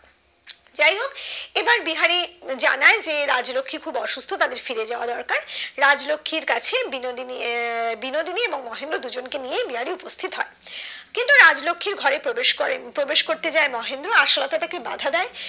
যাই হোক এবার বিহারি জানায় যে রাজলক্ষী খুব অসুস্থ তাদের ফিরে যাওয়া দরকার রাজলক্ষীর কাছে বিনোদিনী আহ বিনোদিনী এবং মহেন্দ্র দুজনকে নিয়ে বিহারি উপস্থিত হয়। কিন্তু রাজলক্ষীর ঘরে প্রবেশ করেন প্রবেশ করতে যায় মহেন্দ্র আশালতা তাকে বাধা দেয়